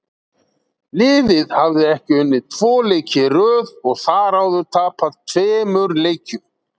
Liðið hafði ekki unnið tvo leiki í röð og þar áður tapað tveimur leikjum.